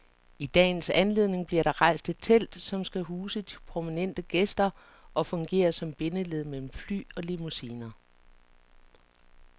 I dagens anledning bliver der rejst et telt, som skal huse de prominente gæster og fungere som bindeled mellem fly og limousiner.